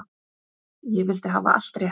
Ég vildi hafa allt rétt.